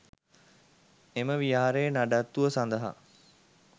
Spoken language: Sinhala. එම විහාරයේ නඩත්තුව සඳහා